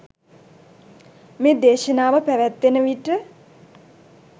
මේ දේශනාව පැවත්වෙන විට